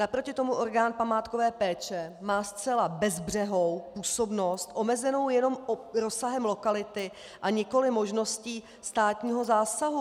Naproti tomu orgán památkové péče má zcela bezbřehou působnost omezenou jenom rozsahem lokality a nikoliv možností státního zásahu.